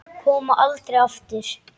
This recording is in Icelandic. Koma aldrei aftur.